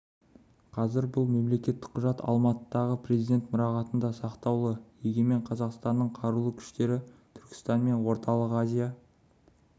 қазір бұл мемлекеттік құжат алматыдағы президент мұрағатында сақтаулы егемен қазақстанның қарулы күштері түркістан мен орталық азия